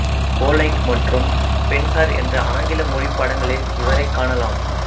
கோலைட் மற்றும் பென்ஹர் என்ற ஆங்கில மொழி படங்களில் இவரைக் காணலாம்